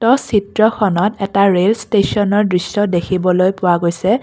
অ চিত্ৰখনত এটা ৰেল ষ্টচনৰ দৃশ্য দেখিবলৈ পোৱা গৈছে।